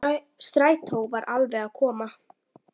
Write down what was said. Strætó var alveg að koma.